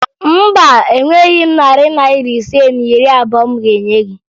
Mba, enweghi m narị Naira ise na iri abụo m ga-enye gị